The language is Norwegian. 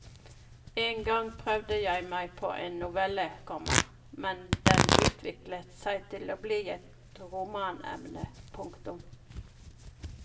Engang prøvde jeg meg på en novelle, komma men den utviklet seg til bli et romanemne. punktum